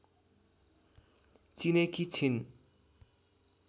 चिनेकी छिन्